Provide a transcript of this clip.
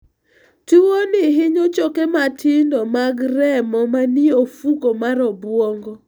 Tuwono hinyo choke matindo mag remo manie ofuko mar obwongo.